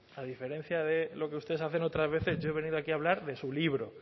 a diferencia de lo que ustedes hacen otras veces yo he venido aquí a hablar de su libro